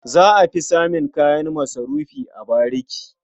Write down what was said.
Za a fi samun kayan masarufi a bariki.